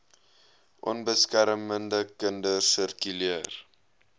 onbeskermde kinders sirkuleer